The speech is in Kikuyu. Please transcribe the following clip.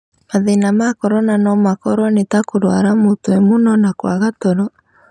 Mathĩna ma corona no makorwo nĩ ta kũrũara mũtwe mũno na kwaga toro.